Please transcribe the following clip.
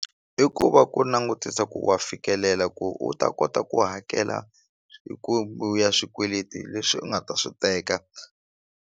I ku va ku langutisa ku wa fikelela ku u ta kota ku hakela hi ku ya swikweleti leswi u nga ta swi teka.